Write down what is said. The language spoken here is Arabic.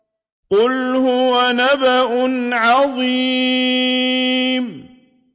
قُلْ هُوَ نَبَأٌ عَظِيمٌ